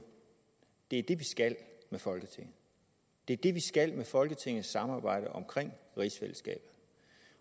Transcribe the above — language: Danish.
er det vi skal med folketinget det er det vi skal med folketingets samarbejde om rigsfællesskabet